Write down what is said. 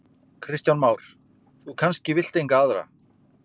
Kristján Már: Þú kannski vilt enga aðra?